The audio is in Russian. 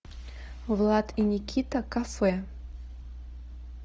влад и никита кафе